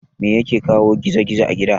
Mai yake kawo gizo gizo a gida?